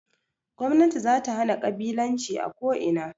Gwamnati zata hana ƙabilanci a ko ina